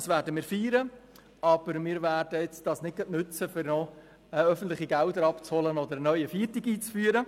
Dies werden wir feiern, aber wir werden es nicht auch noch nützen, um öffentliche Gelder abzuholen oder einen neuen Feiertag einzuführen.